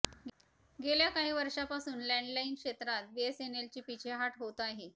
गेल्या काही वर्षापासून लँडलाईन क्षेत्रात बीएसएनएलची पीछेहाट होत आहे